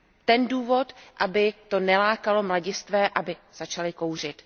ten důvod, aby to nelákalo mladistvé, aby začali kouřit.